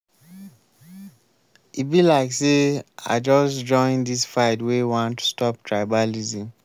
e be like sey i just join dis fight wey wan stop tribalism.